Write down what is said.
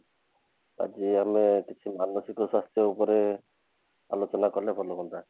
ଆଜି ଆମେ କିଛି ମାନସିକ ଚାପ ଉପରେ ଆଲୋଚନା କଲେ ଭଲ ହୁଆନ୍ତା